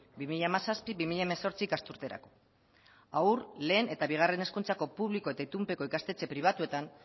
bi mila hamazazpi bi mila hemezortzi ikasturterako haur lehen eta bigarren hezkuntzako publiko eta itunpeko ikastetxe pribatuetan